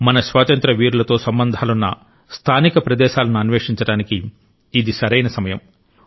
మన స్వాతంత్ర్య వీరులతో సంబంధాలున్న స్థానిక ప్రదేశాలను అన్వేషించడానికి ఇది సరైన సమయం